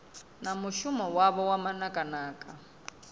na mushumo wavho wa manakanaka